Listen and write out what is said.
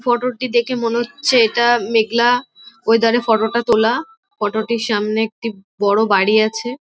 ফটোটি দেখে মনে হচ্ছে এইটি মেঘলা ওয়াদারে -এ ফটোটা তোলা। ফোটোটির সামনে একটি বাড়ি আছে।